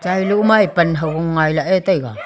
chailo ma ye pan hogung ngailah ye taiga.